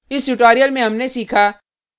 इस tutorial में हमने सीखा